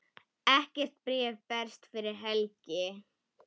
Ekkert bréf berst fyrir helgi.